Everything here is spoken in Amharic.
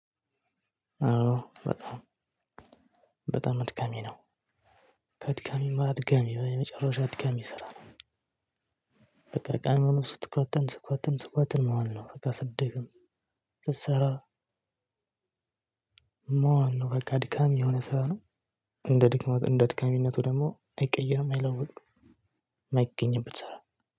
አዎ በጣም በጣም አድካሚ ነው። ከአድካሚም አድካሚ ነው የመጨረሻ አድካሚ ስራ ነው። በቃ ቀኑን ሙሉ ስትኳትን ስትኳትን ስትኳትን መዋል ነው በቃ ስትደክም ስትሰራ መዋል ነው በቃ አድካም የሆነ ስራ ነው። እንደ ድክመቱ እንደ አድካሚነቱ ደግሞ አይቀይርም አይለውጥም የማይገኝበት ስራ